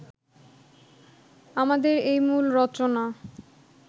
আমাদের এই মূল রচনা